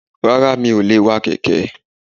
Rara mí o lè wa kẹkẹ